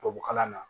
Tubabukalan na